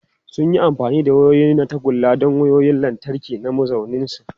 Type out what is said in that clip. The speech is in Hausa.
Sun yi amfani da wayoyi na tagulla don wayoyin lantarki na mazauninsu.